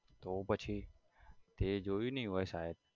તો પછી તે જોયું નઈ હોય શાયદ